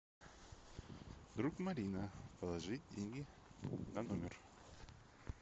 друг марина положить деньги на номер